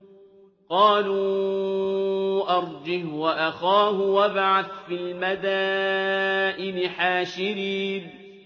قَالُوا أَرْجِهْ وَأَخَاهُ وَابْعَثْ فِي الْمَدَائِنِ حَاشِرِينَ